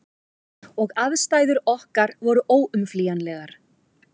Og aðstæður okkar voru óumflýjanlegar.